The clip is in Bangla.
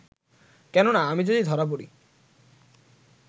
কেননা, আমি যদি ধরা পড়ি